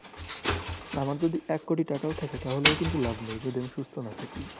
আমার যদি এক কোটি টাকাও থাকে তাহলেও কিন্তু লাভ নেই, যদি আমি সুস্থ না থাকি।